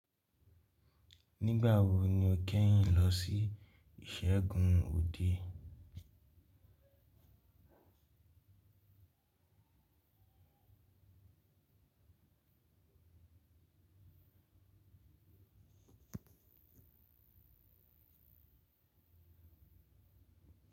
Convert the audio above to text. Nígbà wo ni o kẹ́yìn lọ sí ìṣẹ́gun ọ̀de?